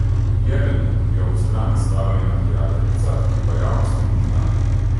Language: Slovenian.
Jeleni je ob strani stala njena prijateljica, ki pa javnosti ni znana.